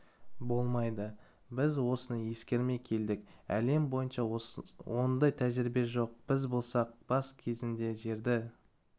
болмайды біз осыны ескермей келдік әлем бойынша ондай тәжірибе жоқ біз болсақ бас кезінде жерді